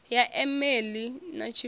ya e meili na tshifhio